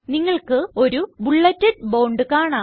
നിങ്ങൾക്ക് ഒരു bulleted bond കാണാം